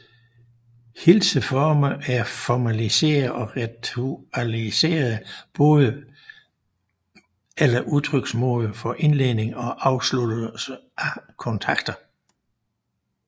Hilseformer er formaliserede og ritualiserede måder eller udtryksmidler for indledning og afsluttelse af kontakter